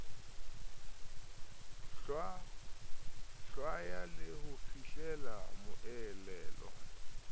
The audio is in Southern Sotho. hlwaya le ho fihlela moelelo